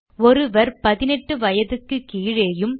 ஒருவர் 18 வயதுக்கு கீழேயும்